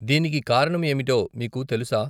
దీనికి కారణం ఏమిటో మీకు తెలుసా.